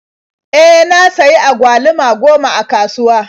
E, na sayi agwaluma goma a kasuwa.